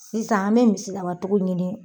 Sisan an bɛ misidabatigiw ɲini.